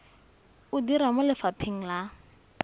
o dira mo lefapheng la